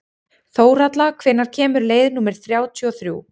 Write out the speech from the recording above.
Þórhalla, hvenær kemur leið númer þrjátíu og þrjú?